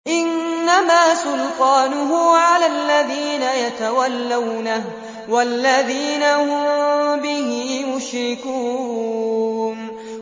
إِنَّمَا سُلْطَانُهُ عَلَى الَّذِينَ يَتَوَلَّوْنَهُ وَالَّذِينَ هُم بِهِ مُشْرِكُونَ